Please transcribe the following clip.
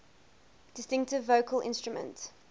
distinctive vocal instrument